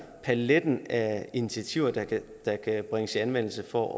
at paletten af initiativer der kan der kan bringes i anvendelse for